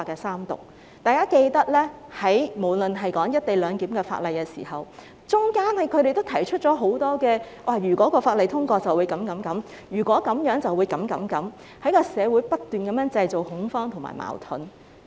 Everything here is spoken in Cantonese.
相信大家還記得，在討論"一地兩檢"安排的法例期間，他們也提出了很多"如果法例通過便會這樣那樣"等的說法，不斷在社會上製造恐慌和矛盾。